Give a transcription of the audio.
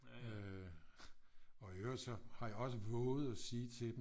Øh og i øvrigt så har jeg også våget at sige til dem